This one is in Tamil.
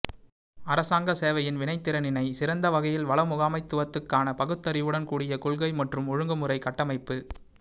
அரசாங்க சேவையின் வினைத்திறனினை சிறந்த வகையில் வள முகாமைத்துவத்துக்கான பகுத்தறிவுடன் கூடிய கொள்கை மற்றும் ஒழுங்குமுறை கட்டமைப்பு